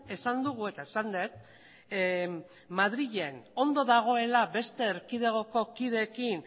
esan dugu eta esan dut madrilen ondo dagoela beste erkidegoko kideekin